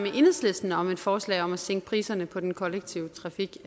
enhedslisten om et forslag om at sænke priserne på den kollektive trafik